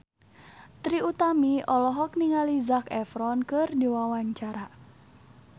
Trie Utami olohok ningali Zac Efron keur diwawancara